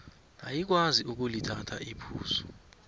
ayikwazi ukulithatha iphuzu